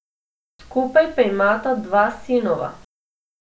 Skupaj pa imata dva sinova.